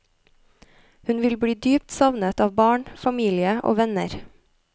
Hun vil bli dypt savnet av barn, familie og venner.